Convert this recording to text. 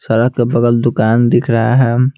सड़क के बगल दुकान दिख रहा है।